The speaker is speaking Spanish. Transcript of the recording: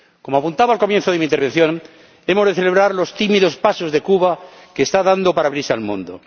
Como apuntaba al comienzo de mi intervención, hemos de celebrar los tímidos pasos que Cuba está dando para abrirse al mundo.